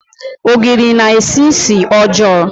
Ogiri na-esi ísì ọjọọ.